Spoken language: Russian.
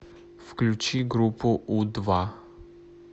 включи группу у два